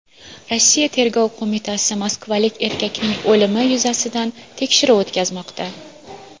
Rossiya tergov qo‘mitasi moskvalik erkakning o‘limi yuzasidan tekshiruv o‘tkazmoqda.